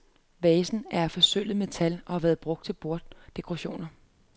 Vaserne er af forsølvet metal og har været brugt til borddekorationer.